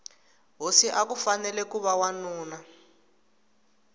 hosi akufanele kuva wanuna